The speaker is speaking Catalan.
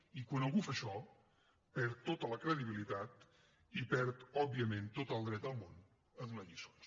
i quan algú fa això perd tota la credibilitat i perd òbviament tot el dret del món a donar lliçons